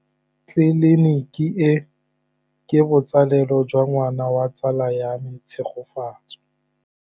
Tleliniki e, ke botsalêlô jwa ngwana wa tsala ya me Tshegofatso.